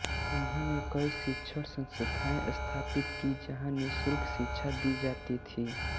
उन्होंने कई शिक्षण संस्थाएँ स्थापित की जहाँ निःशुल्क शिक्षा दी जाती थी